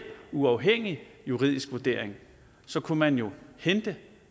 uafhængig juridisk vurdering så kunne man jo hente